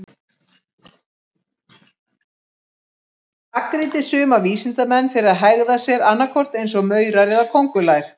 Hann gagnrýndi suma vísindamenn fyrir að hegða sér annað hvort eins og maurar eða köngulær.